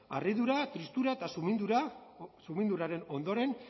harridura tristura eta suminduraren ondoren